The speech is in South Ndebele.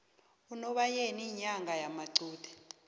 unobayeni inyanga yamaqude